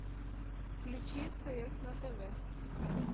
включи стс на тв